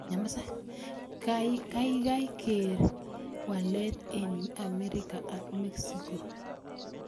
Kaigai keer walet eng' Amerika ak Mexico